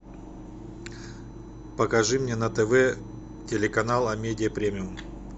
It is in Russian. покажи мне на тв телеканал амедиа премиум